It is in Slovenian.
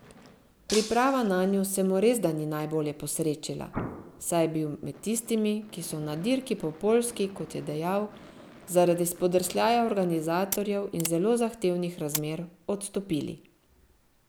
Priprava nanjo se mu resda ni najbolje posrečila, saj je bil med tistimi, ki so na dirki po Poljski, kot je dejal, zaradi spodrsljaja organizatorjev in zelo zahtevnih razmer, odstopili.